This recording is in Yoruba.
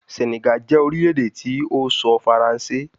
Senegal jẹ orilẹ-ede ti o sọ Faranse